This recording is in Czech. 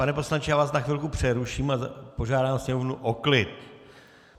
Pane poslanče, já vás na chvilku přeruším a požádám sněmovnu o klid.